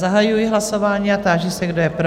Zahajuji hlasování a táži se, kdo je pro?